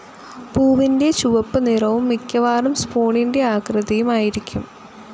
പൂവിൻ്റെ ചുവപ്പു നിറവും മിക്കവാറും സ്പൂണിൻ്റെ ആകൃതിയിയും ആയിരിക്കും